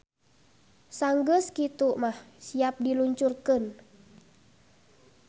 Sanggeus kitu mah siap di luncurkeun.